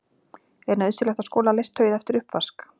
Er nauðsynlegt að skola leirtauið eftir uppvask?